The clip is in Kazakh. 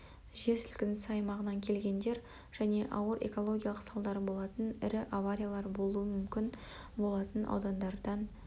жер сілкінісі аймағынан келгендер және ауыр экологиялық салдары болатын ірі авариялар болуы мүмкін болатын аудандардан